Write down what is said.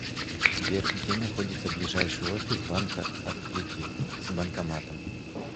сбер где находится ближайший офис банка открытие с банкоматом